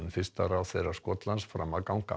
fyrsta ráðherra Skotlands fram að ganga